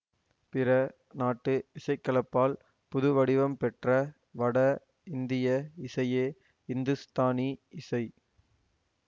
பிற நாட்டு இசைக்கலப்பால் புதுவடிவம்பெற்ற வட இந்திய இசையே இந்துஸ்தானி இசை